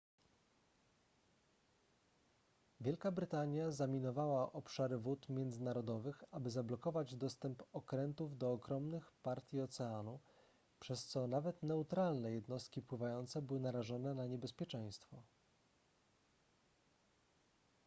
wielka brytania zaminowała obszary wód międzynarodowych aby zablokować dostęp okrętów do ogromnych partii oceanu przez co nawet neutralne jednostki pływające były narażone na niebezpieczeństwo